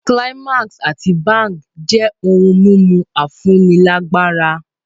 Climax àti Bang jẹ́ ohun mímu afúnilágbára.